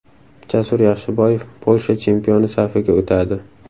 Jasur Yaxshiboyev Polsha chempioni safiga o‘tadi.